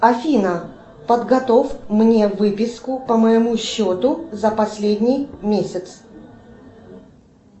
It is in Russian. афина подготовь мне выписку по моему счету за последний месяц